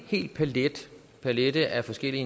palet af forskellige